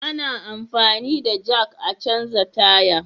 Ana anfani da jak a canja tire